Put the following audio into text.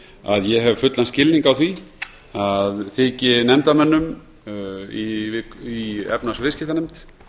að ég hef fullan skilning á því að þyki nefndarmönnum í efnahags og viðskiptanefnd